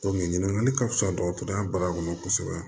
ɲininkali ka fisa dɔgɔtɔrɔya baara kɔnɔ kosɛbɛ